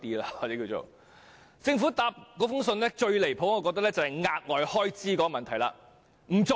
我認為政府的回覆中最無理的一點是額外開支的問題。